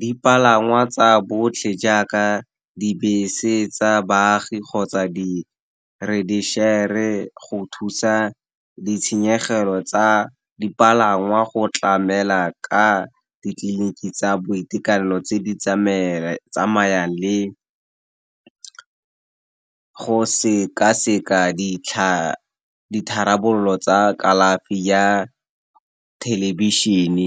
dipalangwa tsa botlhe jaaka dibese tsa baagi kgotsa di go thusa ditshenyegelo tsa dipalangwa go tlamela ka ditleliniki tsa boitekanelo tse di tsamayang le go seka-seka ditharabololo tsa kalafi ya thelebišene.